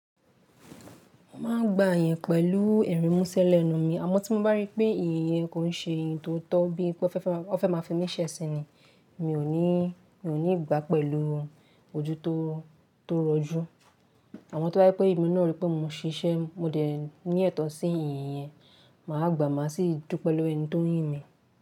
Mo máa ń gbà iyẹn pẹ̀lú ẹ̀rìnmúsẹ́ lẹ́nu mi, àmọ́ tí mo bá ríi pé èyín yẹn kò ń ṣe iyen tó tọ́ bíi pé ó fẹ́ máa fi mí ṣe ẹsin ni, mi ò ní gbà á pẹ̀lú ojú tó rọjú. Àmo tó bá rí pé èmi náà rí pé mo ń siṣẹ́, mo dẹ̀ ní ẹ̀tọ́ sí èyí yẹn, màá gbà á má sì dupe lowo ẹni tó ń yin mí.